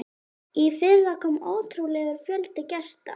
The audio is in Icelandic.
Í fyrra kom ótrúlegur fjöldi gesta.